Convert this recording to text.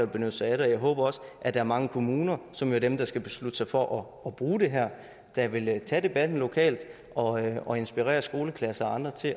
benytte sig af den jeg håber også at der er mange kommuner som være dem der skal beslutte sig for at bruge det her der vil tage debatten lokalt og og inspirere skoleklasser og andre til